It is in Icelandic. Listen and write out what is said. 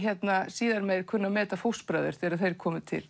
síðar meir kunni að meta fóstbræður þegar þeir komu til